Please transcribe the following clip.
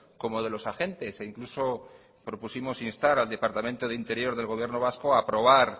como de los agentes e incluso propusimos instar al departamento de interior del gobierno vasco a aprobar